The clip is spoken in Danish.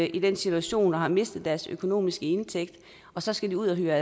i den situation at have mistet deres indtægt og så skulle ud at hyre